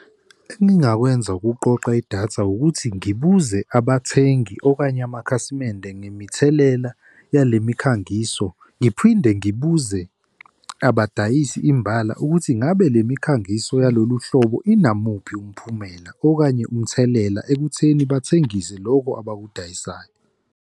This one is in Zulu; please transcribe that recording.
Engingakwenza ukuqoqa idatha ukuthi ngibuze abathengi okanye amakhasimende ngemithelela yale mikhangiso. Ngiphinde ngibuze abadayisi imbala ukuthi ngabe le mikhangiso yalolu hlobo, inamuphi umphumela okanye umthelela ekutheni bathengise loku abakudingayo.